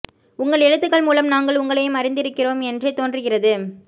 உங்கள் எழுத்துக்கள் மூலம் நாங்கள் உங்களையும் அறிந்திருக்கிறோம் என்றே தோன்றுகிறது